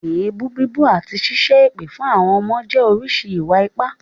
Èébú bíbú àti ṣíṣẹ́ èpè fún àwọn ọmọ jẹ́ oríṣi ìwà-ipá.